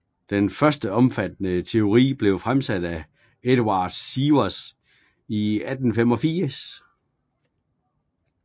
Den første omfattende teori blev fremsat af Eduard Sievers i 1885